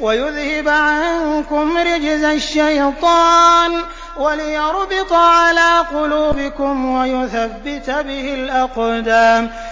وَيُذْهِبَ عَنكُمْ رِجْزَ الشَّيْطَانِ وَلِيَرْبِطَ عَلَىٰ قُلُوبِكُمْ وَيُثَبِّتَ بِهِ الْأَقْدَامَ